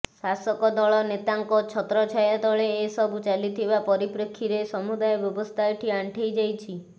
ଶାସକ ଦଳ ନେତାଙ୍କ ଛତ୍ରଛାୟା ତଳେ ଏସବୁ ଚାଲିଥିବା ପରିପ୍ରେକ୍ଷୀରେ ସମୁଦାୟ ବ୍ୟବସ୍ଥା ଏଠି ଆଣ୍ଠେଇ ଯାଇଛି